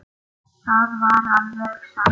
Það var alveg satt.